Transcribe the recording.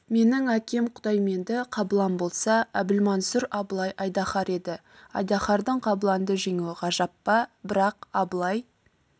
менің әкем құдайменді қабылан болса әбілмансұр абылай айдаһар еді айдаһардың қабыланды жеңуі ғажап па бірақ абылай